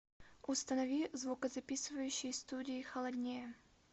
установи в звукозаписывающей студии холоднее